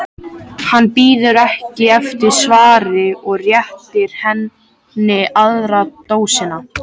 Hann bíður ekki eftir svari og réttir henni aðra dósina.